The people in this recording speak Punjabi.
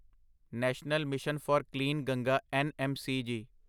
national mission for clean Ganga NMCG